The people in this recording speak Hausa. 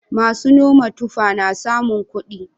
Masu noman tufa na samun kuɗi.